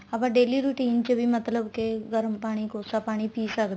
ਆਪਾਂ daily routine ਚ ਮਤਲਬ ਕੇ ਗਰਮ ਪਾਣੀ ਕੋਸਾ ਪਾਣੀ ਪੀ ਸਕਦੇ ਹਾਂ